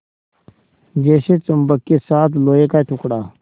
जैसे चुम्बक के साथ लोहे का टुकड़ा